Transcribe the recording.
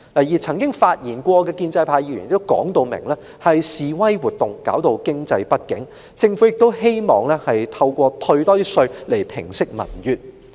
至於曾經發言的建制派議員也明言，是示威活動造成經濟不景，政府亦希望透過更多退稅來平息民怨。